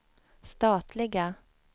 statliga